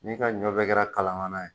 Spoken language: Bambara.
N'i ka ɲɔ bɛɛ kɛra kalamanan ye